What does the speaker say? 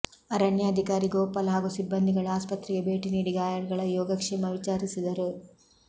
ಅರಣ್ಯಾಧಿಕಾರಿ ಗೊಪಾಲ್ ಹಾಗೂ ಸಿಬ್ಬಂದಿಗಳು ಆಸ್ಪತ್ರೆಗೆ ಭೇಟಿ ನೀಡಿ ಗಾಯಳುಗಳ ಯೋಗಕ್ಷೇಮ ವಿಚಾರಿಸಿದರು